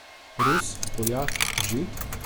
Rus, Poljak, Žid?